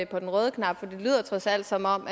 på den røde knap for det lyder trods alt som om